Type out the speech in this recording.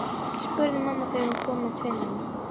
spurði mamma þegar hún kom með tvinnann.